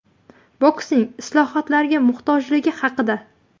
Boksning islohotlarga muhtojligi haqida.